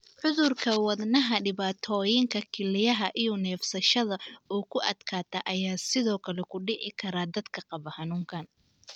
Cudurka wadnaha, dhibaatooyinka kelyaha, iyo neefsashada oo ku adkaata ayaa sidoo kale ku dhici kara dadka qaba xanuunkaan.